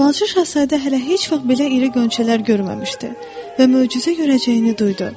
Balaca Şahzadə hələ heç vaxt belə iri qönçələr görməmişdi və möcüzə görəcəyini duydu.